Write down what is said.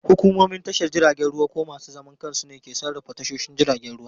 Hukumomin tashar jiragen ruwa ko masu zaman kansu ne ke sarrafa tashoshin jiragen ruwa.